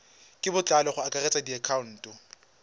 ka botlalo go akaretsa dikhoutu